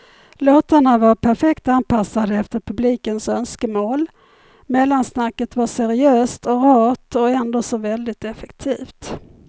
Låtarna var perfekt anpassade efter publikens önskemål, mellansnacket var seriöst och rart och ändå så väldigt effektivt.